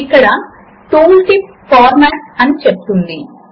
4 times 3 is equal to 12 ఉన్నది